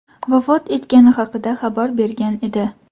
vafot etgani haqida xabar bergan edi.